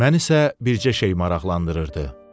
Məni isə bircə şey maraqlandırırdı.